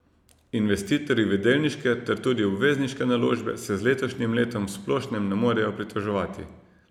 Investitorji v delniške ter tudi obvezniške naložbe se z letošnjim letom v splošnem ne morejo pritoževati.